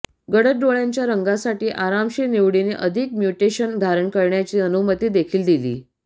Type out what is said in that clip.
गडद डोळ्याच्या रंगासाठी आरामशीर निवडीने अधिक म्यूटेशन धारण करण्याची अनुमती देखील दिली